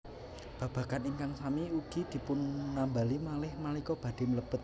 Babagan ingkang sami ugi dipunambali malih nalika badhé mlebet